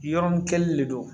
Yɔrɔ ni kɛlen de don